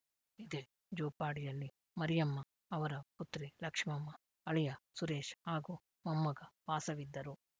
ಇದೇ ಜೋಪಾಡಿಯಲ್ಲಿ ಮರಿಯಮ್ಮ ಅವರ ಪುತ್ರಿ ಲಕ್ಷ್ಮಮ್ಮ ಅಳಿಯ ಸುರೇಶ್‌ ಹಾಗೂ ಮೊಮ್ಮಗ ವಾಸವಿದ್ದರು